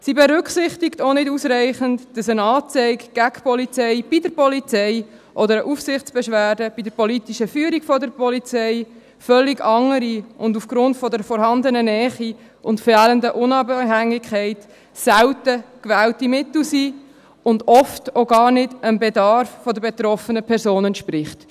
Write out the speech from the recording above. Sie berücksichtigt auch nicht ausreichend, dass eine Anzeige gegen die Polizei bei der Polizei oder eine Aufsichtsbeschwerde bei der politischen Führung der Polizei völlig andere und aufgrund der vorhandenen Nähe und fehlenden Unabhängigkeit selten gewählte Mittel sind, und dass sie oft auch gar nicht dem Bedarf der betroffenen Person entspricht.